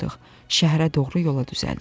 Şəhərə doğru yola düzəldik.